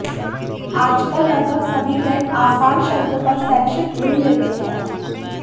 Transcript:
आजकल लगभग सभी बैंक आसान शर्तों पर शैक्षिक ऋण देते हैं